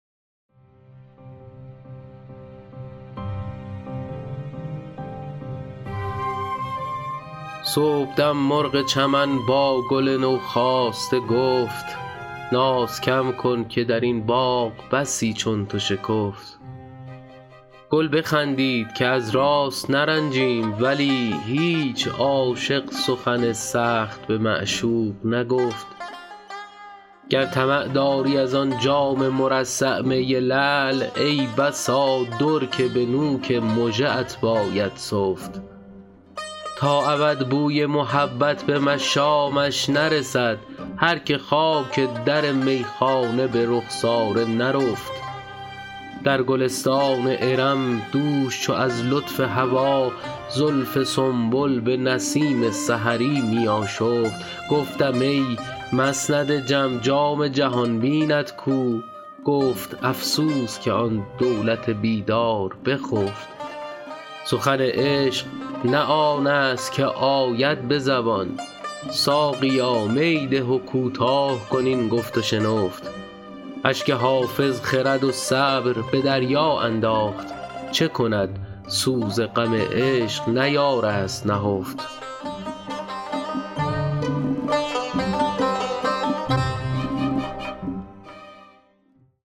صبحدم مرغ چمن با گل نوخاسته گفت ناز کم کن که در این باغ بسی چون تو شکفت گل بخندید که از راست نرنجیم ولی هیچ عاشق سخن سخت به معشوق نگفت گر طمع داری از آن جام مرصع می لعل ای بسا در که به نوک مژه ات باید سفت تا ابد بوی محبت به مشامش نرسد هر که خاک در میخانه به رخسار نرفت در گلستان ارم دوش چو از لطف هوا زلف سنبل به نسیم سحری می آشفت گفتم ای مسند جم جام جهان بینت کو گفت افسوس که آن دولت بیدار بخفت سخن عشق نه آن است که آید به زبان ساقیا می ده و کوتاه کن این گفت و شنفت اشک حافظ خرد و صبر به دریا انداخت چه کند سوز غم عشق نیارست نهفت